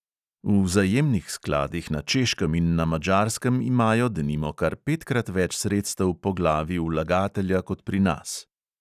V vzajemnih skladih na češkem in na madžarskem imajo, denimo, kar petkrat več sredstev po glavi vlagatelja kot pri nas.